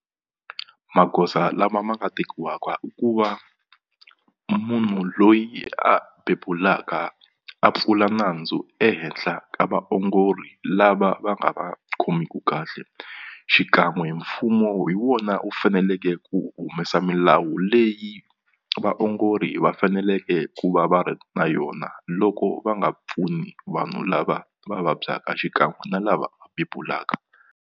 Magoza lama ma nga tekiwaka i ku va munhu loyi a bebulaka a pfula nandzu ehenhla ka vaongori lava va nga va khomeku kahle xikan'we mfumo hi wona wu faneleke ku humesa milawu leyi vaongori va faneleke ku va va ri na yona loko va nga pfuni vanhu lava va vabyaka xikan'we na lava va bebulaka.